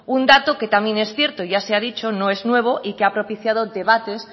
un dato que también es cierto ya se ha dicho no es nuevo y que ha propiciado el debate